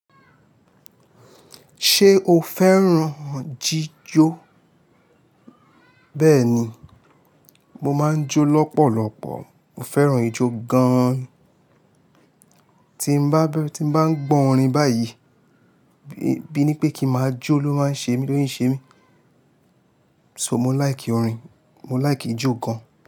Ṣé o féràn jíjó? Bẹ́ẹ̀ni, mo máa ń jó lọ́pọ̀lọpọ̀. Mo féràn ijó gan. Tí mo bá ń gbọ́ orin báyìí, bíi ní pé kí máa jó ló máa ń ṣe èmi, lóyún ń ṣe èmi. So mo like orin, mo like ijó gan.